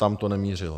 Tam to nemířilo.